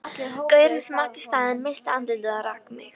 Gaurinn sem átti staðinn missti andlitið og rak mig.